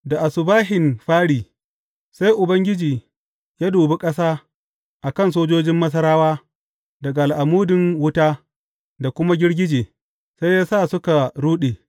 Da asubahin fāri, sai Ubangiji ya dubi ƙasa a kan sojojin Masarawa daga al’amudin wuta da kuma girgije, sai ya sa suka ruɗe.